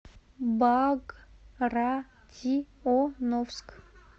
багратионовск